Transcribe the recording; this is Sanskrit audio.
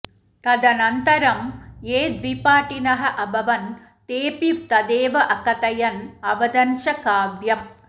तदनन्तरं ये द्विपाठिनः अभवन् तेऽपि तदेव अकथयन् अवदन् च काव्यं